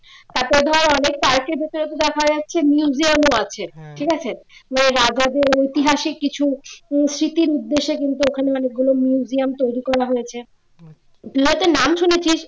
সাথে ধর অনেক দেখা যাচ্ছে museum ও আছে ঠিক আছে রাজাদের ঐতিহাসিক কিছু স্মৃতির উদ্দেশ্যে কিন্তু ওখানে মানে এগুলো museum তৈরি করা হয়েছে হয়তো নাম শুনেছিস